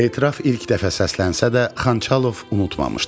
Etiraf ilk dəfə səslənsə də, Xançalov unutmamışdı.